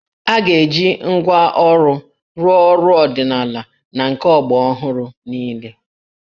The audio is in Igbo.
A ga-eji ngwá ọrụ rụọ ọrụ ọdịnala na nke ọgbaraọhụrụ niile